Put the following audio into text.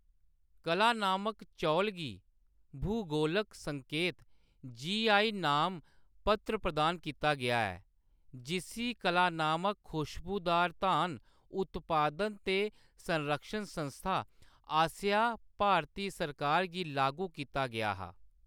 कलानामक चौल गी भूगोलक संकेत जी. आई. नामपत्र प्रदान कीता गेआ ऐ जिस्सी कलानामक खुशबूदार धान उत्पादन ते संरक्षण संस्था आसेआ भारती सरकार गी लागू कीता गेआ हा।